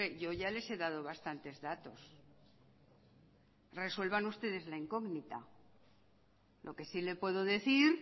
yo ya les he dado bastantes datos resuelvan ustedes la incógnita lo que sí le puedo decir